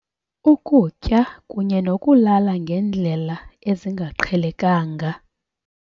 Ukutya kunye nokulala ngendlela ezingaqhelekanga.